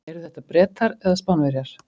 Eru þetta Bretar eða Spánverjar?